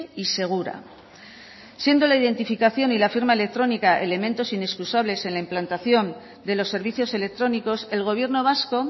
y segura siendo la identificación y la firma electrónica elementos inexcusables en la implantación de los servicios electrónicos el gobierno vasco